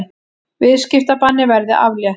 Viðskiptabanni verði aflétt